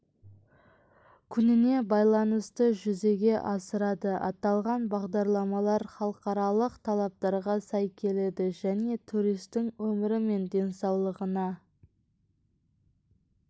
күніне байланысты жүзеге асырады аталған бағдарламалар халықаралық талаптарға сай келеді және туристің өмірі мен денсаулығына